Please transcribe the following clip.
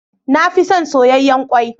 Na fi son soyayyen kwai.